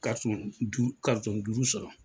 Ka sɔn du ka nson duuru sɔrɔ.